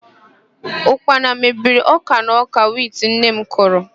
Ụkpana mebiri ọ́kà na ọ́kà wit nne m kụrụ.